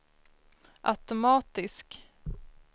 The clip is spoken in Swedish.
automatisk